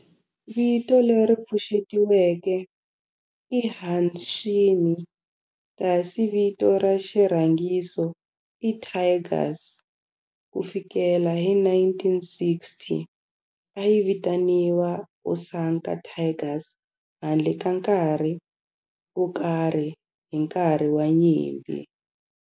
Vito leri pfuxetiweke i Hanshin kasi vito ra xirhangiso i Tigers. Ku fikela hi 1960, a yi vitaniwa Osaka Tigers handle ka nkarhi wo karhi hi nkarhi wa nyimpi.